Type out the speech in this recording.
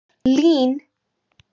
Lín